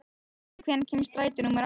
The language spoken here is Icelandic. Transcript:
Þossi, hvenær kemur strætó númer átta?